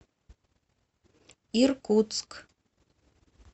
иркутск